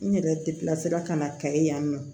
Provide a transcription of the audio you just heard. N yɛrɛ kilasi la ka na kayi yan nɔ